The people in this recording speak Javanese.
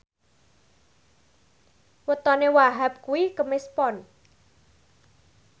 wetone Wahhab kuwi Kemis Pon